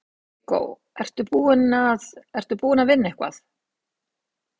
Viggó: Ertu búinn að, ertu búinn að vinna eitthvað?